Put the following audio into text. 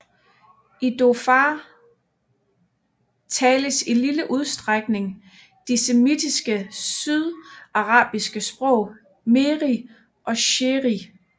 I Dhofar tales i lille udstrækning de semitiske sydarabiske sprog mehri og shehri